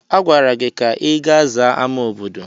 Agwara gị ka ị ga zaa ámá obodo!